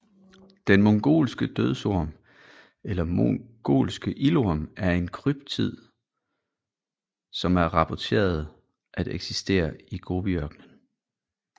Den mongolske dødsorm eller mongolske ildorm er en kryptid som er rapporteret at eksistere i Gobiørkenen